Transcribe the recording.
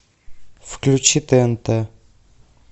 включи тнт